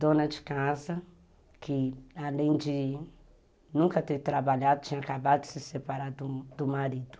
dona de casa, que além de nunca ter trabalhado, tinha acabado de se separar do do marido.